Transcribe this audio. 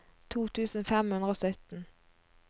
to tusen fem hundre og sytten